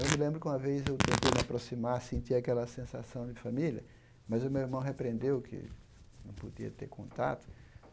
Eu me lembro que uma vez eu tentei me aproximar, sentir aquela sensação de família, mas o meu irmão repreendeu que não podia ter contato.